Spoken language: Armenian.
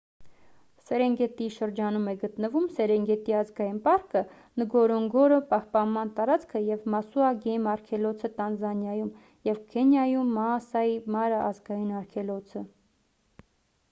սերենգետիի շրջանում է գտնվում սերենգետի ազգային պարկը նգորոնգորո պահպանման տարածքը և մասուա գեյմ արգելոցը տանզանիայում և քենիայում մաասայի մարա ազգային արգելոցը